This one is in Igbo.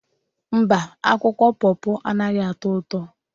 Mba, akwụkwọ pọpọ anaghị atọ ụtọ.